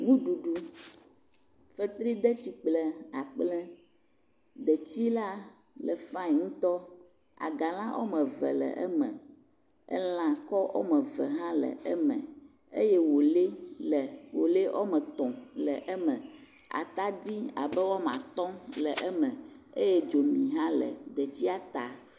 Ŋuɖuɖu. fetridetsi kple akpple. Detsi la le fain ŋutɔ. Agala wɔme ve le eme. Elakɔ wɔme ve hã le eme eye woelɛ le woelɛ wɔme tɔ̃ le eme. Atadi abe wɔma tɔ̃ le eme eye dzomi hã le detsia ta.